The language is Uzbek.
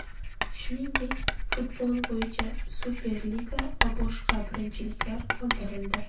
Shuningdek, futbol bo‘yicha Superliga va boshqa birinchiliklar qoldirildi .